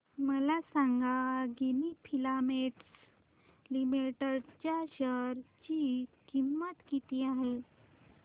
मला सांगा Ginni filaments limited च्या शेअर ची किंमत किती आहे